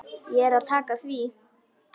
Þá er að taka því.